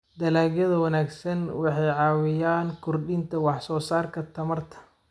Dalagyada wanaagsan waxay caawiyaan kordhinta wax soo saarka tamarta.